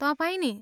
तपाईँ नि?